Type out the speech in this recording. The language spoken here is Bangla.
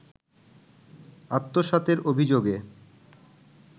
আত্মসাতের অভিযোগে